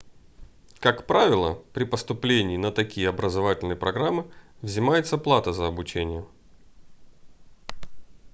как правило при поступлении на такие образовательные программы взимается плата за обучение